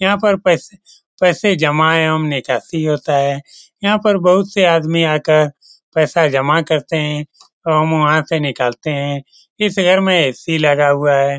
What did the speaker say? यहाँ पर पास पैसे जमा ने चासी होता है यहाँ पर बहुत से आदमी आकर पैसा जमा करते है और वहाँ से निकाल ते है इस घर में ए.सी. लगा हुआ है ।